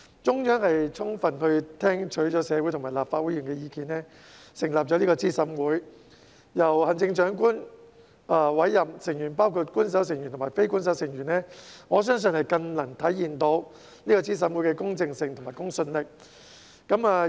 中央充分聽取社會及立法會議員的意見，成立資審會，由行政長官委任，成員包括官守成員及非官守成員，我相信更能體現資審會的公正性和公信力。